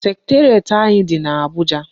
Secretariat anyị dị n'Abuja.